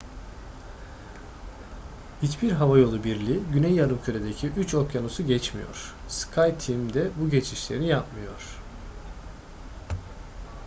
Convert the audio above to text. hiçbir havayolu birliği güney yarımküre'deki üç okyanusu geçmiyor skyteam de bu geçişleri yapmıyor